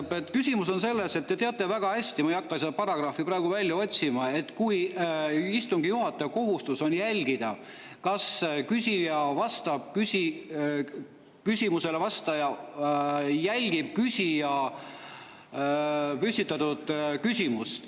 Tähendab, küsimus on selles, et te teate väga hästi – ma ei hakka seda paragrahvi praegu välja otsima –, et istungi juhataja kohustus on jälgida, kas küsimusele vastaja küsija püstitatud küsimusele.